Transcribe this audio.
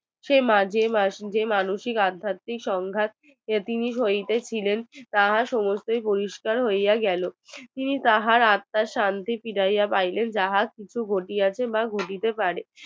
সে মাঝে মাঝে মানুসিক আধ্যাত্মীক সংগায় তাহার সমস্ত বহিস্কার হইয়া গেল তিনি তাহার আতর শান্তি ফিরাইয়া পাইলেন যাহা কিছু ঘটিয়াছে তা বুঝিতে পারেন